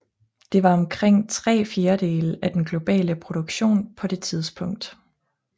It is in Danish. Det var omkring tre fjerdedele af den globale produktion på det tidspunkt